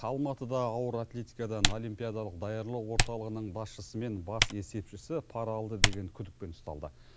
алматыда ауыр атлетикадан олимпиадалық даярлау орталығының басшысы мен бас есепшісі пара алды деген күдікпен ұсталды